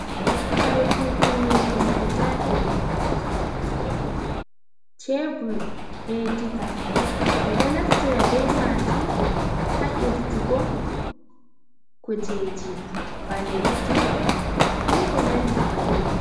Kare kutini ɗum guda ɗiɗi, cebur be diga ɓeɗo naftira be majum ha irtugo kujeji ba leddi, be ko nandi bannin.